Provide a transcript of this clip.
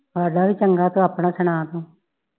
ਹਾਡਾ ਵੀ ਚੰਗਾ ਤੂੰ ਆਪਣਾ ਸੁਣਾ ਤੂੰ